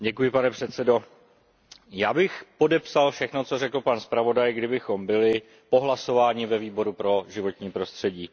Pane předsedo, já bych podepsal všechno, co řekl pan zpravodaj, kdybychom byli po hlasování ve Výboru pro životní prostředí.